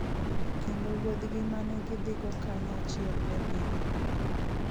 Kendo wuodhgi ma ne gidhigo kanyachiel ne dhi nyime.